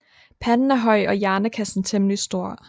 Panden er høj og hjernekassen temmelig stor